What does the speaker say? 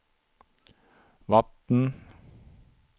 vatten